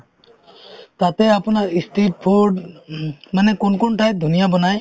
তাতে আপোনাৰ ই street food হুম মানে কোন কোন ঠাইত ধুনীয়া বনায়